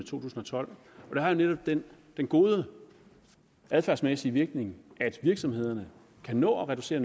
tusind og tolv og det har netop den gode adfærdsmæssige virkning at virksomhederne kan nå at reducere